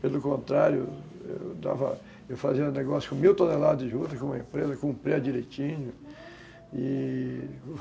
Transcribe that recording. Pelo contrário, eu dava, fazia negócio com mil toneladas de juta, com uma empresa, cumpria direitinho e...